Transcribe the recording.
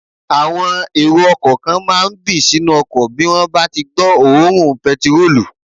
Àwọn èrò ọkọ̀ kan máà ń bì sínú ọkọ̀ bí wọ́n bá tí gbọ́ òórùn pẹtirólù